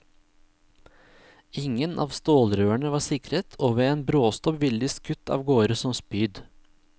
Ingen av stålrørene var sikret, og ved en bråstopp ville de skutt av gårde som spyd.